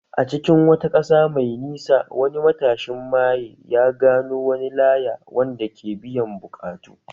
A cikin wata ƙasa mai nisa, wani matashin maye ya gano wani laya wanda ke biyan buƙatu